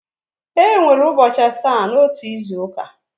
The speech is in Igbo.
Enwere ụbọchị asaa n'otu izu ụka.